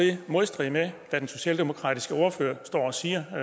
i modstrid med hvad den socialdemokratiske ordfører står og siger